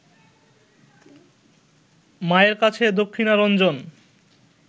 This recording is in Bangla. মায়ের কাছে দক্ষিণারঞ্জন